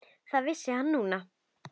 Það vissi hann núna.